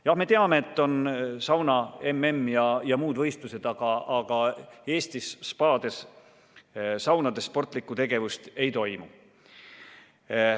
Jah, me teame, et on sauna-MM ja muud võistlused, aga Eesti spaade saunades sportlikku tegevust ei toimu.